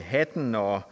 hatten og